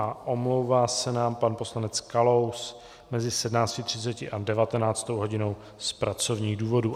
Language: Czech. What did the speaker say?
A omlouvá s nám pan poslanec Kalous mezi 17.30 a 19. hodinou z pracovních důvodů.